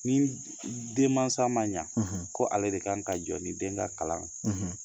Ni denmansa ma ɲɛ ko ale de kan ka jɔ ni den ka kalan